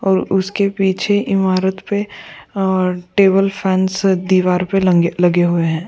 और उसके पीछे इमारत पे और टेबल फैंस दीवार पे लँगे लगे हुए हैं।